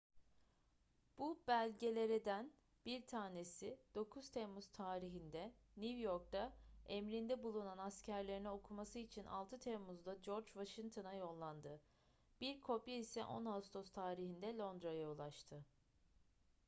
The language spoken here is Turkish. bu belgelereden bir tanesi 9 temmuz tarihinde new york'ta emrinde bulunan askerlerine okuması için 6 temmuz'da george washington'a yollandı bir kopya ise 10 ağustos tarihinde londra'ya ulaştı